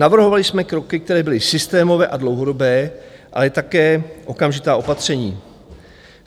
Navrhovali jsme kroky, které byly systémové a dlouhodobé, ale také okamžitá opatření.